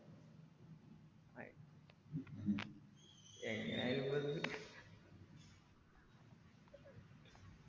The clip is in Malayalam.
എങ്ങനെയായാലും പ്പോ ന്ത്